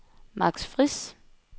Max Friis